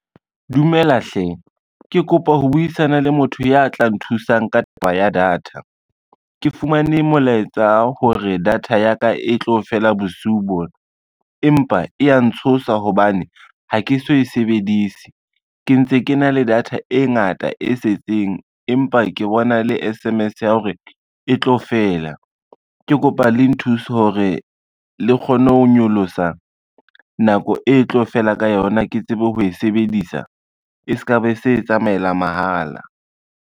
Dumela hle, ke kopa ho buisana le motho ya tla nthusang ka taba ya data. Ke fumane molaetsa hore data ya ka e tlo fela bosiu bona, empa e ya ntshosa hobane ha ke so e sebedise. Ke ntse ke na le data e ngata e setseng, empa ke bona le S_M_S ya hore e tlo fela. Ke kopa le nthuse hore le kgone ho nyolosa nako e tlo fela ka yona, ke tsebe ho e sebedisa e se ka be se tsamaela mahala.